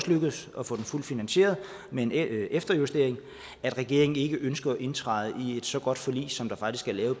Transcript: lykkedes at få den fuldt finansieret med en efterjustering at regeringen ikke ønsker at indtræde i et så godt forlig som der faktisk er lavet